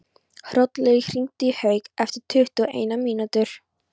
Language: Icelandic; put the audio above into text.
Hrollaugur, hringdu í Hauk eftir tuttugu og eina mínútur.